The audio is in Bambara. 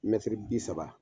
bi saba.